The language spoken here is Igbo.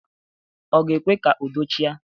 Ọ ga-ekwe ka udo chịa?